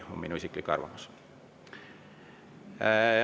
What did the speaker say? See on minu isiklik arvamus.